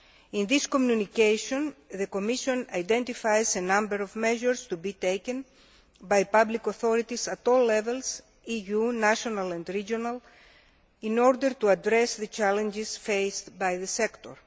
In this communication, the Commission identifies a number of measures to be taken by public authorities at all levels EU, national and regional in order to address the challenges faced by the sector.